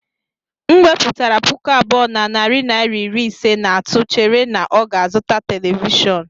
M wepụtara puku abụọ na narị naira iri ise, na-atụ chere na ọ ga-azụta telivishọn.